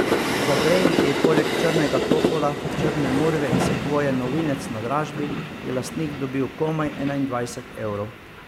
Za dren, ki je bil poleg črnega topola, črne murve in sekvoje novinec na dražbi, je lastnik dobil komaj enaindvajset evrov.